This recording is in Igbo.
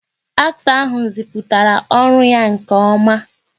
Acto ahụ ziputara ọrụ ya nke oma